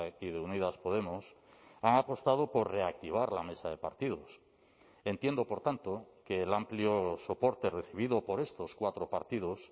y de unidas podemos han apostado por reactivar la mesa de partidos entiendo por tanto que el amplio soporte recibido por estos cuatro partidos